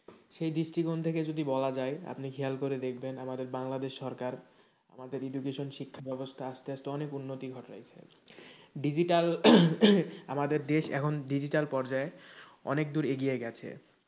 সেই দৃষ্টিকোণ থেকে যদি বলা যায় আপনি খেয়াল করে দেখবেন আমাদের বাংলাদেশ সরকার আমাদের education শিক্ষা ব্যাবস্থা আস্তেআস্তে অনেক উন্নতি ঘটিয়েছে digital আমাদের দেশ এখন digital পর্যায়ে অনেকদূর এগিয়ে গেছে,